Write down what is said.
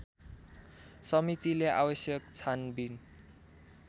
समितिले आवश्यक छानबिन